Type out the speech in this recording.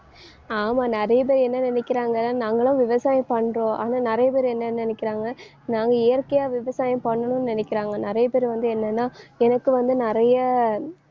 ஆமா நிறைய பேர் என்ன நினைக்கிறாங்கன்னா நாங்களும் விவசாயம் பண்றோம். ஆனா நிறைய பேர் என்ன நினைக்கிறாங்க நாங்க இயற்கையா விவசாயம் பண்ணணும்னு நினைக்கிறாங்க. நிறைய பேர் வந்து என்னன்னா எனக்கு வந்து நிறைய